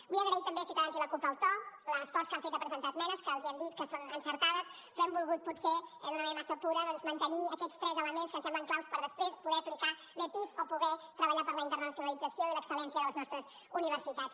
vull agrair també a ciutadans i a la cup el to l’esforç que han fet de presentar esmenes que els hem dit que són encertades però hem volgut potser d’una manera massa pura doncs mantenir aquests tres elements que ens semblen claus per després poder aplicar l’epif o poder treballar per la internacionalització i l’excel·lència de les nostres universitats